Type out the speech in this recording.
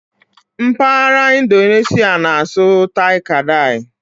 M̀paghara Indoneshịa na-asụ '"Tai-Kadai"